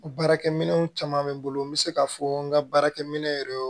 Baarakɛminɛnw caman bɛ n bolo n bɛ se k'a fɔ n ka baarakɛminɛ yɛrɛ